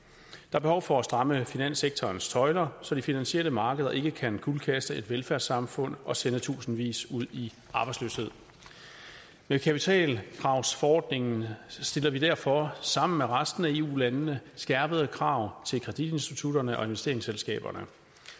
er behov for at stramme finanssektorens tøjler så de finansielle markeder ikke kan kuldkaste et velfærdssamfund og sende tusindvis ud i arbejdsløshed med kapitalkravsforordningen stiller vi derfor sammen med resten af eu landene skærpede krav til kreditinstitutterne og investeringsselskaberne